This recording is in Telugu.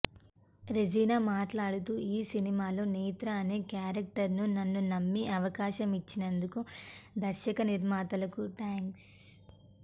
రెజీనా మాట్లాడుతూ ఈ సినిమాలో నేత్ర అనే క్యారెక్టర్ను నన్ను నమ్మి అవకాశం ఇచ్చినందుకు దర్శక నిర్మాతలకు థాంక్స్